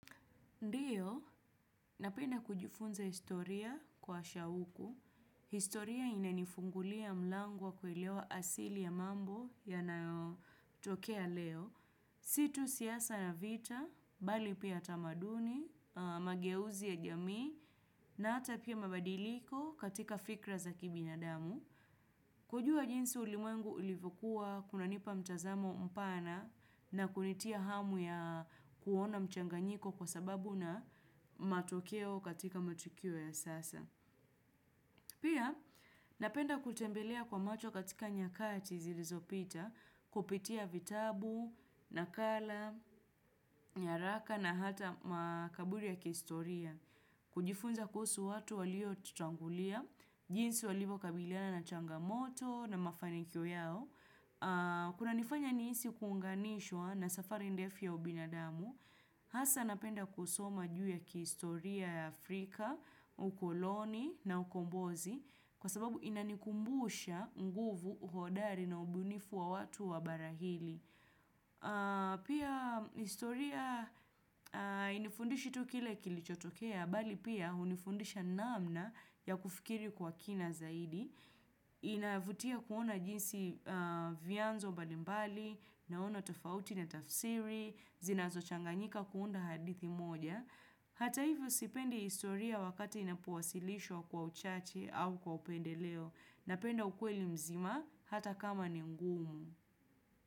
Ndiyo, napenda kujifunza historia kwa shauku. Historia inanifungulia mlango wa kuelewa asili ya mambo yanayotokea leo. Si tu siasa ya vita, bali pia tamaduni, mageuzi ya jamii, na hata pia mabadiliko katika fikra za kibinadamu. Kujua jinsi ulimwengu ilivokuwa kunanipa mtazamo mpana na kunitia hamu ya kuona mchanganyiko kwa sababu na matokeo katika matukio ya sasa. Pia napenda kutembelea kwa macho katika nyakati zilizopita kupitia vitabu, nakala, nyaraka na hata makaburi ya kistoria. Kujifunza kuhusu watu waliotutangulia, jinsi walivo kabiliana na changamoto na mafanikio yao kunanifanya nihisi kuunganishwa na safari ndefu ya ubinadamu Hasa napenda kusoma juu ya kihistoria ya Afrika, ukoloni na ukombozi Kwa sababu inanikumbusha nguvu uhodari na ubinifu wa watu wa barahili Pia historia inifundishi tu kile kilichotokea Bali pia hunifundisha namna ya kufikiri kwa kina zaidi inavutia kuona jinsi vyanzo mbalimbali Naona tofauti na tafsiri Zinazochanganyika kuunda hadithi moja Hata hivyo sipendi historia wakati inapowasilishwa kwa uchache au kwa upendeleo. Napenda ukweli mzima hata kama ni ngumu.